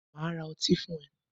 Màá ra otí fún ẹ